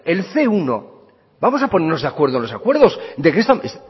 el ce uno vamos a ponernos de acuerdo en los acuerdos de qué estamos